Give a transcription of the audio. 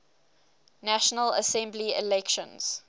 national assembly elections